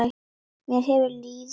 Mér hefur liðið mjög illa, segir hún.